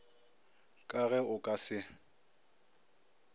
ka ge o ka se